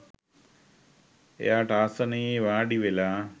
එයාට ආසනයේ වාඩිවෙලා